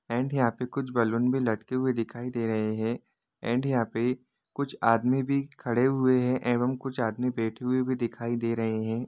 And यहां पे कुछ बलून भि लटके हुए दिख रहे है एण्ड यहा पर कुछ आदमी भि खड़े हुए है एवम कुछ आदमी बैठे हुए भी दिखाई दे रहे है।